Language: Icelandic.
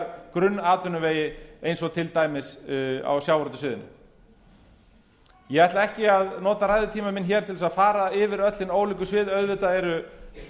grunnatvinnuvegi eins og til dæmis á sjávarútvegssviðinu ég ætla ekki að nota ræðutíma minn til að fara yfir öll hin ólíku svið auðvitað eru